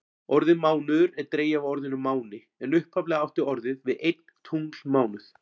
Orðið mánuður er dregið af orðinu máni en upphaflega átti orðið við einn tunglmánuð.